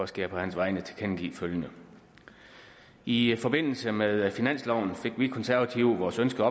skal jeg på hans vegne tilkendegive følgende i forbindelse med finansloven fik vi konservative vores ønske